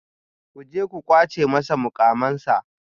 Ku je ku kwace masa mukamansa